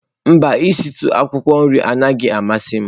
Mba, isitu akwụkwọ nri anaghị amasị m.